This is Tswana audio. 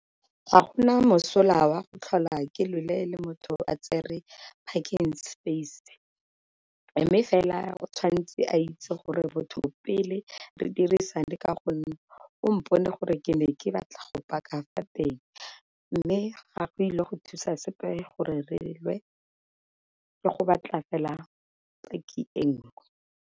Ga gona mosola wa go tlhola ke lwele le motho a tsere parking space, mme fela o tshwantse a itse gore botho pele re dirisane ka gonne o mponeng gore ke ne ke batla go paka fa teng. Mme ga go ile go thusa sepe gore relwe ke go batla fela parking e nngwe.